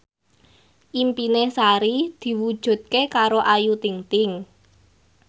impine Sari diwujudke karo Ayu Ting ting